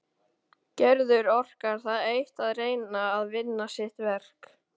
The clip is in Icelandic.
Gerður orkar það eitt að reyna að vinna sitt verk.